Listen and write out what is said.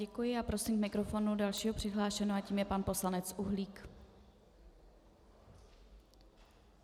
Děkuji a prosím k mikrofonu dalšího přihlášeného a tím je pan poslanec Uhlík.